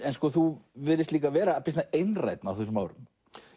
þú virðist líka vera býsna einrænn á þessum árum